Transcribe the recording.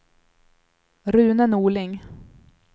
Rune Norling